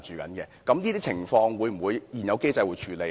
就這些情況，現有機制會否處理呢？